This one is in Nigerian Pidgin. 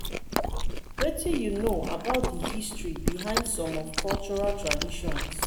wetin you know about di history behind some of cultural traditions?